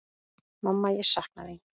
Mamma ég sakna þín.